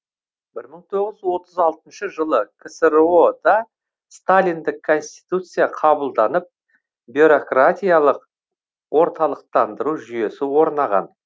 бір мың тоғыз жүз отыз алтыншы жылы ксро да сталиндік конституция қабылданып бюрократиялық орталықтандыру жүйесі орнаған